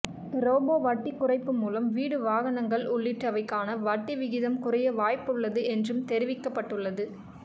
repo வட்டி குறைப்பு மூலம் வீடு வாகனங்கள் உள்ளிட்டவைக்கான வட்டி விகிதம் குறைய வாய்ப்பு உள்ளது என்றும் தெரிவிக்கப்பட்டுள்ளது